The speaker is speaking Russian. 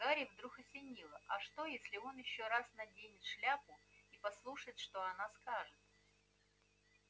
гарри вдруг осенило а что если он ещё раз наденет шляпу и послушает что она скажет